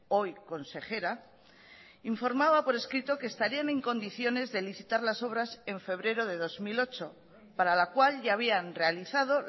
hoy consejera informaba por escrito que estarían en condiciones de licitar las obras en febrero de dos mil ocho para la cual ya habían realizado